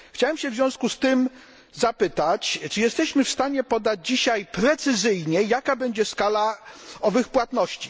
Chciałem w związku z tym zapytać, czy jesteśmy w stanie podać dzisiaj precyzyjnie, jaka będzie skala owych płatności.